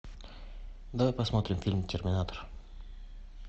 давай посмотрим фильм терминатор